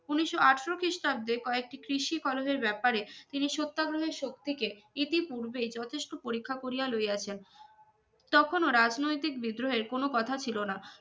উনিশ আঠারো খ্রিস্টাব্দে কয়েকটি কৃষি কলেজের ব্যাপারে তিনি সত্যাগ্রহের শক্তিকে ইতি পুর্বে যথেষ্ট পরীক্ষা করিয়া লইয়াছেন তখন ও রাজনৈতিক বিদ্রোহের কোন কোথা ছিলোনা